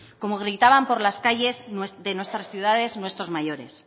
como gritaban por las calles de nuestras ciudades nuestros mayores